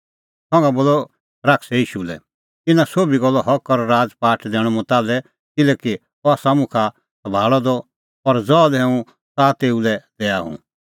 संघा बोलअ शैतानै ईशू लै इहअ इना सोभी गल्लो हक और राज़पाठ दैणअ मुंह ताल्है किल्हैकि अह आसा मुखा सभाल़अ द और ज़हा लै हुंह च़ाहा तेऊ लै दैआ हुंह